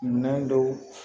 Minɛn dɔw